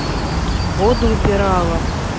воду убирала